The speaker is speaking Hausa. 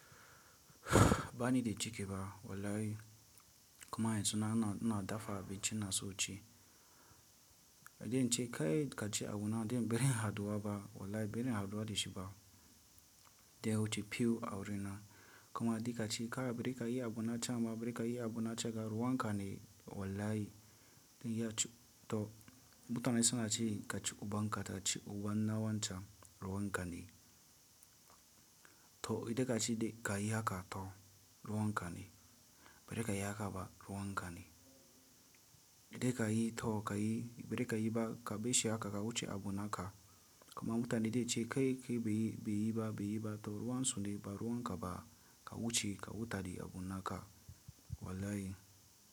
Ba ni da ciki fa wallahi kuma yanzu na, na, na dafa abinci na so ci. Da dai in ce kai ka ci abu na din barin haɗuwa ba wallahi barin haɗuwa da shifa. Da ya wuce few a wurina kuma a dika ci ka a birika yi abu na can ba a birika yi abu na cika ruwan ka ne wallahi. To mutane suna cewa ka ci uban ka ta ci ubanna wan can ruwan ka ne. To idan ka ci ka yi haka to ruwan ka ne. A birika yi haka ba ruwan ka ne. Idan ka yi to ka yi a birika yi ba ka baishe haka ka wuce abu naka kuma mutane de cike kai ka yi, ba yi ba, ba yi ba to ruwan su ne ba ruwan ka ba ka wuce ka huta da abu naka wallahi.